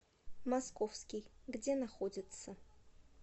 московский где находится